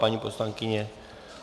Paní poslankyně?